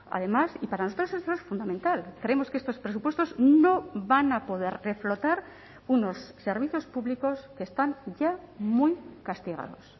además y para nosotros eso es fundamental creemos que estos presupuestos no van a poder reflotar unos servicios públicos que están ya muy castigados